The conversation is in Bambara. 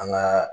An ka